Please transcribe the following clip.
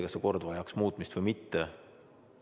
Kas see kord vajaks muutmist või mitte?